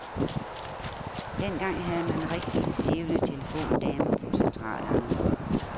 Dengang havde man rigtig levende telefondamer på centralerne.